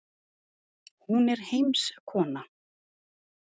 Hún er heimskona.